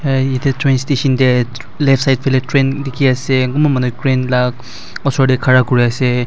train station teh left side faleh train dikhi ase konba manu train lah osor teh khara kuri ase.